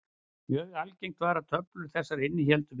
Mjög algengt var að töflur þessar innihéldu villur.